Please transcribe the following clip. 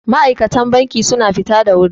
ma'aikatan banki suna fita da wuri